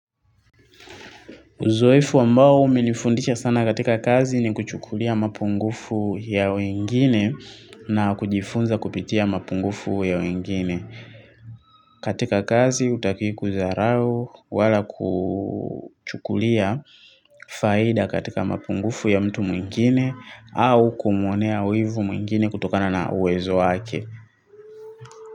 Uzoefu ambao umenifundisha sana katika kazi ni kuchukulia mapungufu ya wengine na kujifunza kupitia mapungufu ya wengine. Katika kazi hutaki kudharau wala kuchukulia faida katika mapungufu ya mtu mwingine au kumwonea wivu mwingine kutokana na uwezo wake.